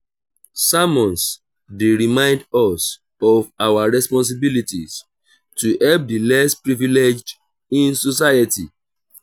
sermons dey remind us of our responsibilities to help the less privileged in society.